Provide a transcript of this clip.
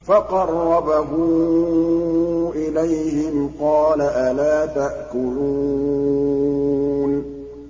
فَقَرَّبَهُ إِلَيْهِمْ قَالَ أَلَا تَأْكُلُونَ